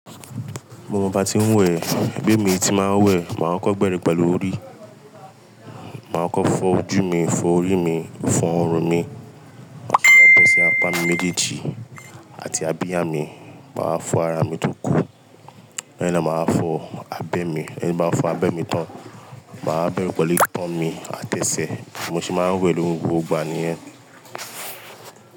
Mo mọ ba ti ń wẹ̀, bi emi tí màá n wẹ̀, màá kọ́ko bẹ́rẹ́ pẹ̀lú orí, màá kọ́ko fọ ojú mi, fọ orí mi, fọ ọrùn mi, màá wa bọ́ sí apá mi méjèèjì àti abìyá mi, màá fọ ara mi tó kù, lẹ́yin na máa fọ abẹ́ mi, ẹ tin bá ń fọ abẹ́ mi tán, màá bẹ́rẹ́ pẹ̀lú tán mi àtẹ́sẹ̀, mo se máa ń wẹ̀ ni gbogbo igba nìyẹn.